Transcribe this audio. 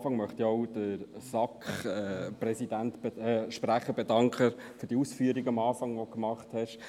Ich möchte zuerst dem SAKSprecher für die Ausführungen danken, die er zu Beginn gemacht hat.